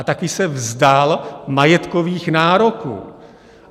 A taky se vzdal majetkových nároků.